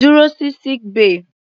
Dúró sí sick bay.